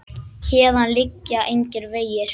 Héðan liggja engir vegir.